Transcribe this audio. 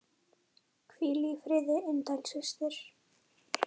Hvíl í friði indæl systir.